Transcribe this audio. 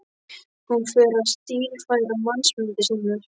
Hún fer að stílfæra mannamyndir sínar.